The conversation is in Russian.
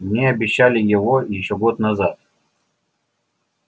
мне обещали его ещё год назад